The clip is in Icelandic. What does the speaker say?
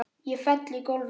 Ég fell í gólfið.